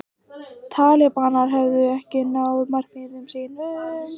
Talibanar hefðu ekki náð markmiðum sínum